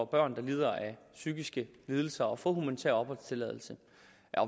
børn der lider af psykiske lidelser at få humanitær opholdstilladelse